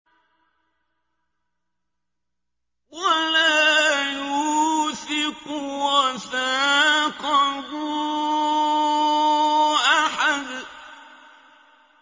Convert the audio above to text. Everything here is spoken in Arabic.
وَلَا يُوثِقُ وَثَاقَهُ أَحَدٌ